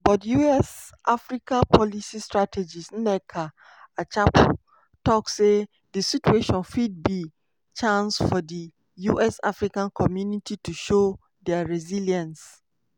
but us-africa policy strategist nneka achapu tok say di situation fit be chance for di us african community to show dia resilience.